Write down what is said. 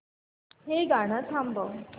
हे गाणं थांबव